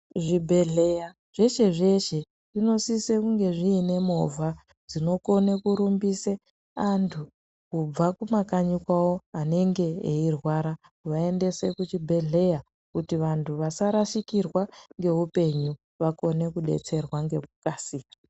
Zvibhedhleya zveshe zveshe zvinosise kunge zviinemovha dzinokone kurumbise antu kubva kumakanyi kwawo anenge eirwara kuvaendese kuchibhedhleya . Kuti antu asarashikirwa ngeupenyu vakone kudetserwa ngekukasira.